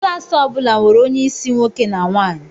Klas ọ bụla nwere onye isi nwoke na nwaanyi.